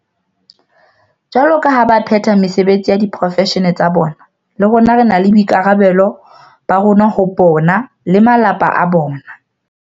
Jwaloka ha ba phetha mesebetsi ya diporofeshene tsa bona, le rona re na le boikarabelo ba rona ho bona le ba malapa a bona.